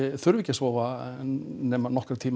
þurfi ekki að sofa nema nokkra tíma